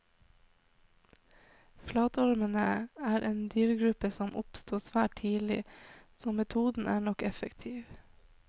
Flatormene er en dyregruppe som oppsto svært tidlig, så metoden er nok effektiv.